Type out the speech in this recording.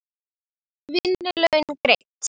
Vinnu laun greidd.